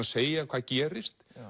segja hvað gerist